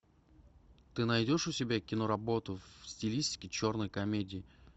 ты найдешь у себя киноработу в стилистике черной комедии